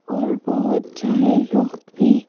और बहुत सारे लोग भी--